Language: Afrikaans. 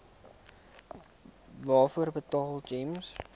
waarvoor betaal gems